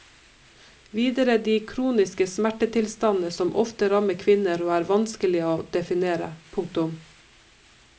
Videre de kroniske smertetilstandene som ofte rammer kvinner og er vanskelige å definere. punktum